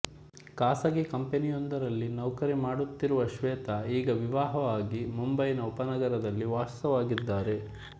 ಖಾಸಗೀ ಕಂಪೆನಿಯೊಂದರಲ್ಲಿ ನೌಕರಿಮಾಡುತ್ತಿರುವ ಶ್ವೇತಾ ಈಗ ವಿವಾಹವಾಗಿ ಮುಂಬಯಿನ ಉಪನಗರದಲ್ಲಿ ವಾಸವಾಗಿದ್ದಾರೆ